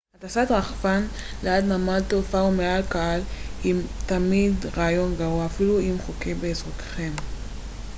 הטסת רחפן ליד נמל תעופה או מעל קהל היא כמעט תמיד רעיון גרוע אפילו אם זה חוקי באזורכם